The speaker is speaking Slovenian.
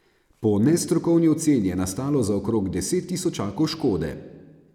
Po nestrokovni oceni je nastalo za okrog deset tisočakov škode.